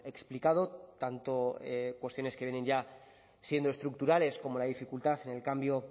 explicado tanto cuestiones que vienen ya siendo estructurales como la dificultad en el cambio